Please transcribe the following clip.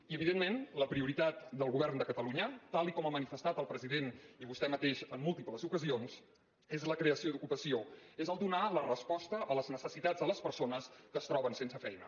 i evidentment la prioritat del govern de catalunya tal com ha manifestat el president i vostè mateix en múltiples ocasions és la creació d’ocupació és donar la resposta a les necessitats de les persones que es troben sense feina